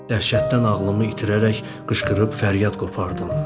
Dəhşətdən ağlımı itirərək qışqırıb fəryad qopardım.